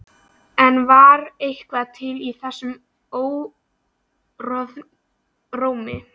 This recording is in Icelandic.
En var eitthvað til í þeim orðrómi?